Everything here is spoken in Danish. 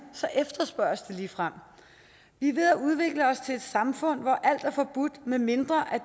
efterspørges det ligefrem vi er ved at udvikle os til et samfund hvor alt er forbudt medmindre